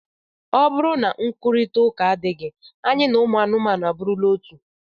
Ma nkwurịta ụka adịghị, anyị na anụmanụ abụrụla otu